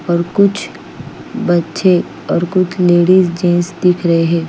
और कुछ बच्चे और कुछ लेडीज जेंट्स दिख रहे है।